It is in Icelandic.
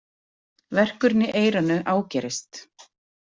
Verkurinn í eyranu ágerist.